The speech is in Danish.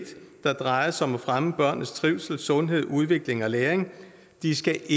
der drejer sig om at fremme børnenes trivsel sundhed udvikling og læring de skal